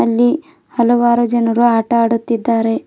ಇಲ್ಲಿ ಹಲವಾರು ಜನರು ಆಟ ಆಡುತ್ತಿದ್ದಾರೆ.